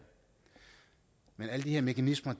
men alle de her mekanismer